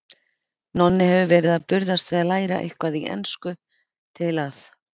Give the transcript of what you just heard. Nonni hefur verið að burðast við að læra eitthvað í ensku til að